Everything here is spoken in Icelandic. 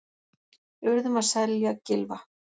Urðum að selja Gylfa